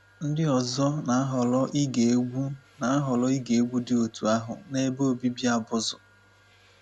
Ndị ọzọ na-ahọrọ ige egwú na-ahọrọ ige egwú dị otú ahụ n’ebe obibi abụzụ.